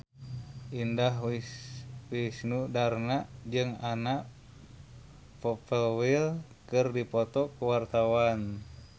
Indah Wisnuwardana jeung Anna Popplewell keur dipoto ku wartawan